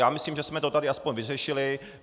Já myslím, že jsme to tady aspoň vyřešili.